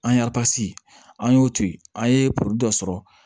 An aransi an y'o to yen an ye probilɛ dɔ sɔrɔ